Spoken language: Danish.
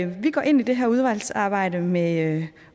vi går ind i det her udvalgsarbejde med